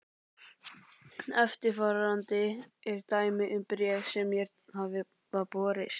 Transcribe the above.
Eftirfarandi er dæmi um bréf sem mér hafa borist